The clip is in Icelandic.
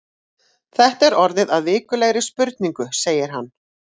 Þetta er orðið að vikulegri spurningu segir hann.